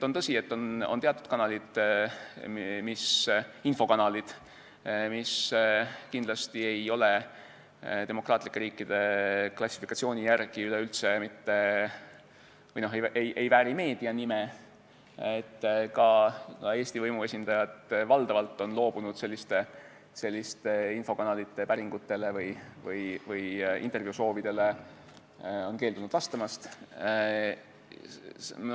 On tõsi, et on teatud infokanalid, mis demokraatlike riikide klassifikatsiooni järgi üleüldse ei vääri meedia nime, ka Eesti võimuesindajad on valdavalt loobunud selliste infokanalite päringutele või intervjuusoovidele vastamast.